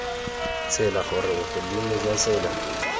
tsela gore bogodimo jwa tsela